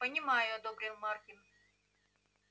понимаю одобрил маркин